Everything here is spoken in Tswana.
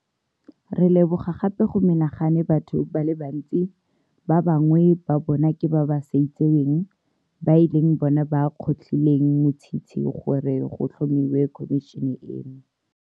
Re leboga gape go menagane batho ba le bantsi, ba ba bangwe ba bona ke ba ba sa itseweng, ba e leng bona ba kgotlhileng motshitshi gore go tlhomiwe khomišene eno.